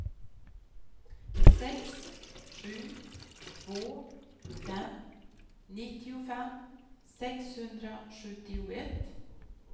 sex sju två fem nittiofem sexhundrasjuttioett